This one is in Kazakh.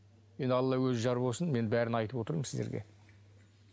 енді алла өзі жар болсын мен бәрін айтып отырмын сіздерге